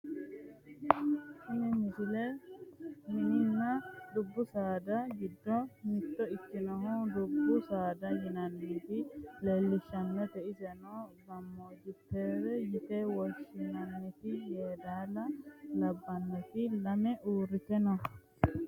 tini misile mininna dubbu saada giddo mitto ikkinore dubbu saada yinannita leellishshannote iseno gaanjutrrete yine woshshinanniti yedaala labbannoti lame uurrite no